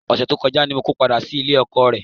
Ọ̀sẹ̀ tó kọjá ni mo ko padà sílé ọkọọ̀ rẹ.